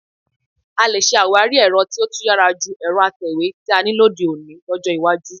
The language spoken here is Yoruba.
A lè ṣe àwárí ẹ̀rọ tí ó tún yára ju ẹ̀rọ atẹ̀wé tí a ní lóde òní lọ́jọ́ iwájú